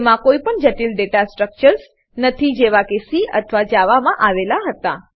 તેમાં કોઈપણ જટિલ દાતા સ્ટ્રકચર્સ ડેટા સ્ટ્રક્ચરો નથી જેવા કે સી અથવા જાવા માં આવેલ છે